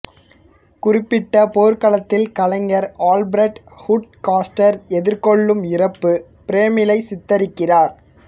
குறிப்பட்ட போர்க்களத்தில் கலைஞர் Alfred Wood Caster எதிர்கொள்ளும் இறப்பு பிரேமிலை சித்தரிக்கிறார்